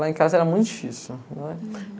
Lá em casa era muito difícil, né?